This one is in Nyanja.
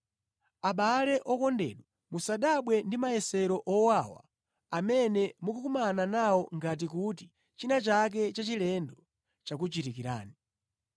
Abale okondedwa musadabwe ndi mayesero owawa amene mukukumana nawo ngati kuti china chake chachilendo chakuchitikirani.